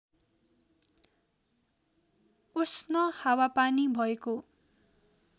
उष्ण हावापानी भएको